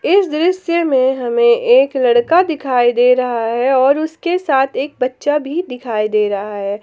इस दृश्य में हमें एक लड़का दिखाई दे रहा है और उसके साथ एक बच्चा भी दिखाई दे रहा है।